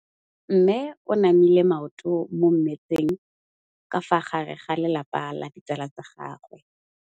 Mme o namile maoto mo mmetseng ka fa gare ga lelapa le ditsala tsa gagwe.